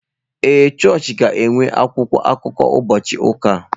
Ee chọọchị ga-enwe akwụkwọ akụkọ ụbọchị ụka a.